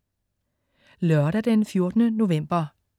Lørdag den 14. november